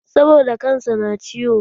Saboda kan sa na ciwo